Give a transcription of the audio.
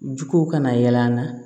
Juguw kana yɛlɛ an na